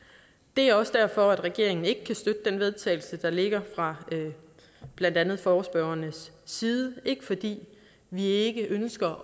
det er også derfor regeringen ikke kan støtte til vedtagelse der ligger fra blandt andet forespørgernes side ikke fordi vi ikke ønsker